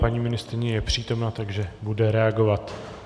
Paní ministryně je přítomna, takže bude reagovat.